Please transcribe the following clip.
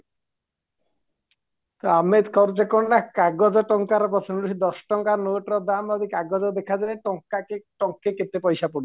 ଆମେ କରୁଛେ କ'ଣ ନା କାଗଜ ଟଙ୍କା ଦଶଟଙ୍କା ନୋଟର ଦାମ ଏବେ କାଗଜ ଦେଖାଯାଉନି ଟଙ୍କାକେ ଟଙ୍କେ କେଟପାଇସା ପଡୁଛି